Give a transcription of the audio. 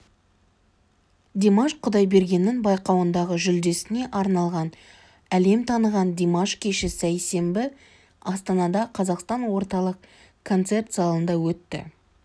димаш құдайбергеннің байқауындағы жүлдесіне арналған әлем таныған димаш кеші сейсенбі астанада қазақстан орталық концерт залында өтті